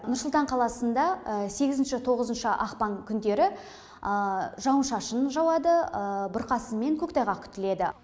нұр сұлтан қаласында сегізінші тоғызыншы ақпан күндері жауын шашын жауады бұрқасын мен көктайғақ күтіледі